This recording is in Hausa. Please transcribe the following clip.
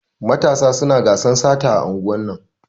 Matasa suna gasan sata a unguwan.